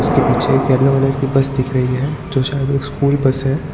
के पीछे एक येलो कलर की बस दिख रही है जो शायद स्कूल बस है।